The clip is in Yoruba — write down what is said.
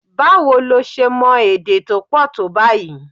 Báwo lo ṣe mọ èdè tó pọ̀ tó báyìí?